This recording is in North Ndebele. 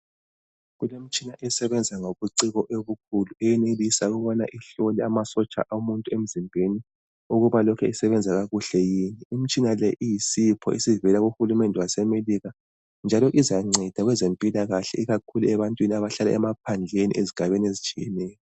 Kulemitshina esebenza ngobuciko obukhulu, eyenelisa ukubana ihlole amasotsha omuntu emzimbeni ukuba lokhe esebenza kakuhle yini. Imitshina le iyisipho esivela kuHulumende waseMelika njalo izanceda kwezempilakahle ikakhulu ebantwini abahlala emaphandleni ezigabeni ezitshiyeneyo.